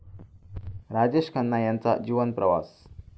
राजेश खन्ना यांचा जीवनप्रवास